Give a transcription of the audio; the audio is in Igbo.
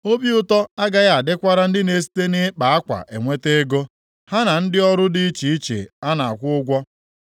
Obi ụtọ agaghị adịkwara ndị na-esite nʼịkpa akwa enweta ego, ha na ndị ọrụ dị iche iche a na-akwụ ụgwọ.